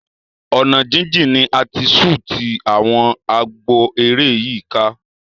Ọ̀nà jíjìn ni a ti ṣútì àwọn àgbọn eré yìí kan.